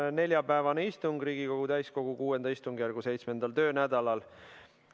On neljapäevane istung Riigikogu täiskogu VI istungjärgu 7. töönädalal.